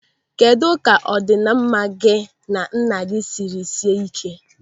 Kedụ ka ọdịnamma gị na nna gị sịrị sie ị́ké?